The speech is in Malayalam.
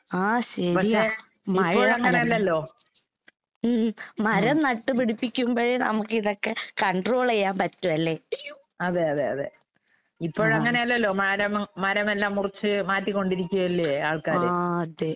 ആഹ് ശെരിയാ. മഴ ഉം ഉം. മരം നട്ട് പിടിപ്പിക്കുമ്പഴേ നമുക്കിതൊക്കെ കോൺട്രോളെയ്യാമ്പറ്റൂ അല്ലേ? ആഹ്. ആഹ് അതെ.